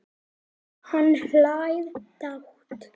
Hann hlær dátt.